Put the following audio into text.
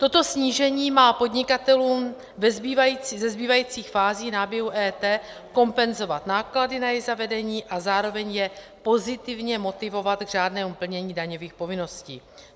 Toto snížení má podnikatelům ze zbývajících fází náběhu EET kompenzovat náklady na její zavedení a zároveň je pozitivně motivovat k řádnému plnění daňových povinností.